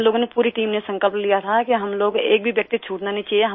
हम लोगों ने पूरी टीम ने संकल्प लिया था कि हम लोग एक भी व्यक्ति छूटना नहीं चाहिए